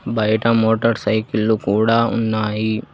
బయట motorcycle కూడా ఉన్నాయి.